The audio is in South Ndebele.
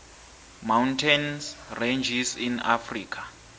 mountains ranges in africa